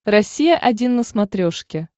россия один на смотрешке